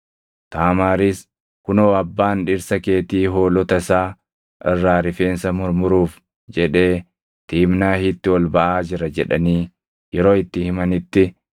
Taamaaris, “Kunoo abbaan dhirsa keetii hoolota isaa irraa rifeensa murmuruuf jedhee Tiimnaahitti ol baʼaa jira” jedhanii yeroo itti himanitti,